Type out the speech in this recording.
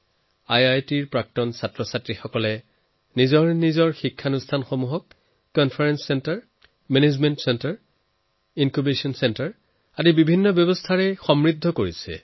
আইআইটিয়ানছে নিজৰ প্ৰতিষ্ঠানক কনফাৰেঞ্চ চেণ্টাৰছ মেনেজমেন্ট চেণ্টাৰছ ইনক্যুবেচন চেণ্টাৰছৰ দৰে কেইবাটাও বেলেগ বেলেগ ব্যৱস্থা নিজেই বনাই দিছে